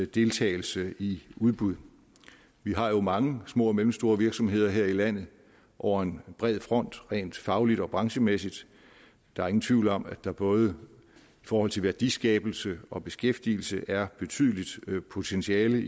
deltagelse i udbud vi har jo mange små og mellemstore virksomheder her i landet over en bred front rent fagligt og branchemæssigt der er ingen tvivl om at der både i forhold til værdiskabelse og beskæftigelse er betydeligt potentiale i